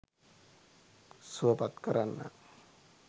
සුවපත් කරන්න